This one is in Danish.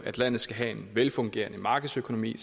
at landet skal have en velfungerende markedsøkonomi